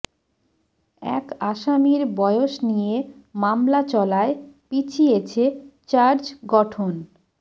এক আসামির বয়স নিয়ে মামলা চলায় পিছিয়েছে চার্জ গঠন